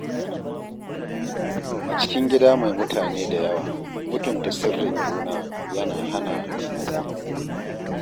A cikin gida mai mutane da yawa, mutunta sirrin juna yana hana matsala.